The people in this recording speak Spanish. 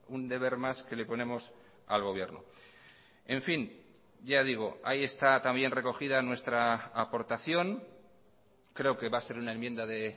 un deber más que le ponemos al gobierno en fin ya digo ahí está también recogida nuestra aportación creo que va a ser una enmienda de